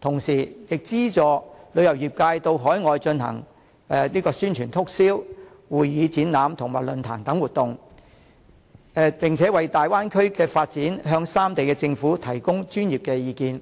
同時亦資助旅遊業界到海外進行宣傳促銷、會議展覽及論壇等活動，為大灣區的發展向三地政府提供專業意見。